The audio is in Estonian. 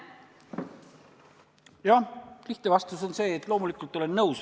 Jah, lihtne vastus on see, et loomulikult olen nõus.